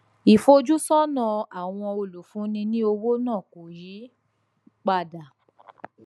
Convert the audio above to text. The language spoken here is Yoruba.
ìfojúsónà àwọn olùfúnni ní owó náà kò yí padà